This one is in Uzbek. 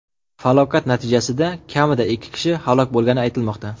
Falokat natijasida kamida ikki kishi halok bo‘lgani aytilmoqda.